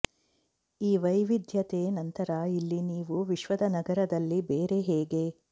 ಈ ವೈವಿಧ್ಯತೆ ನಂತರ ಇಲ್ಲಿ ನೀವು ವಿಶ್ವದ ನಗರದಲ್ಲಿ ಬೇರೆ ಹೇಗೆ